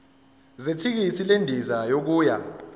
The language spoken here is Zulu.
zethikithi lendiza yokuya